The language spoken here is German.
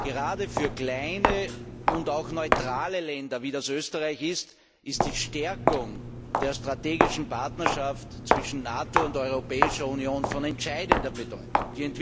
Gerade für kleine und auch neutrale Länder wie Österreich ist die Stärkung der strategischen Partnerschaft zwischen NATO und Europäischer Union von entscheidender Bedeutung.